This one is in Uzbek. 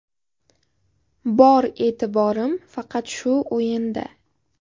Bor e’tiborim faqat shu o‘yinda.